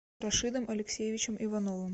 рашидом алексеевичем ивановым